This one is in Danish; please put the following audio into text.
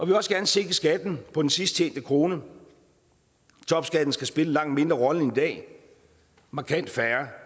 vil også gerne sænke skatten på den sidst tjente krone topskatten skal spille en langt mindre rolle end i dag markant færre